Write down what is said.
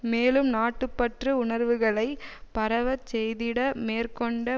மேலும் நாட்டு பற்று உணர்வுகளை பரவச் செய்திட மேற்கொண்ட